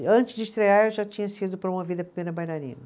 E antes de estrear, eu já tinha sido promovida primeira bailarina.